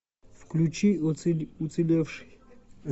включи уцелевший